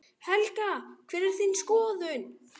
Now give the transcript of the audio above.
Helga: Hver er þín skoðun?